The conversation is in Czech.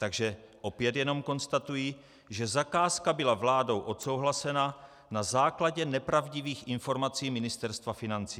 Takže opět jenom konstatuji, že zakázka byla vládou odsouhlasena na základě nepravdivých informací Ministerstva financí.